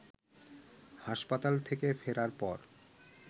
হাসপাতাল থেকে ফেরার পর